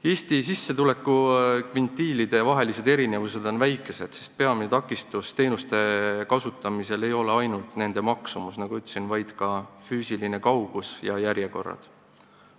Eesti sissetulekukvintiilide erinevused on väikesed, sest peamine takistus teenuste kasutamisel ei ole ainult nende maksumus, nagu ma ütlesin, vaid ka füüsiline kaugus ja järjekorrad.